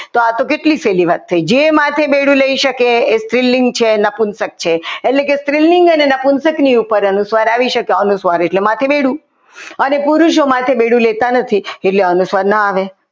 તો આ તો કેટલી સહેલી વાત થઈ જે માથે બેડું લઈ શકે તે સ્ત્રીલિંગ છે નપુનસક છે એટલે કે સ્ત્રીલિંગની કે નપુંશકની ઉપર અનુસ્વાર આવે આવી શકે અનુસ્વાર એટલે માથે બેડું અને પુરુષો માથે બેડું લેતા નથી એટલે અનુસ્વાર ન આવે.